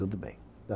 Tudo bem.